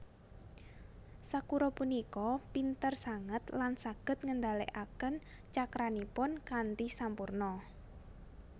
Sakura punika pinter sanget lan saged ngendalekaken cakranipun kanthi sampurna